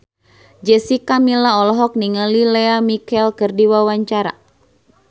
Jessica Milla olohok ningali Lea Michele keur diwawancara